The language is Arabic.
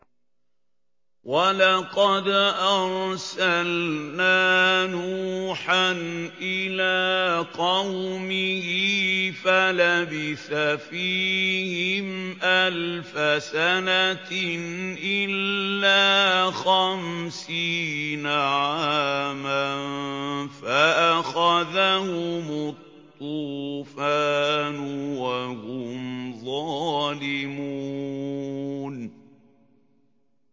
وَلَقَدْ أَرْسَلْنَا نُوحًا إِلَىٰ قَوْمِهِ فَلَبِثَ فِيهِمْ أَلْفَ سَنَةٍ إِلَّا خَمْسِينَ عَامًا فَأَخَذَهُمُ الطُّوفَانُ وَهُمْ ظَالِمُونَ